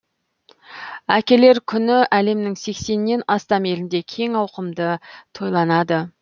әкелер күні әлемнің сексеннен астам елінде кең ауқымда тойланады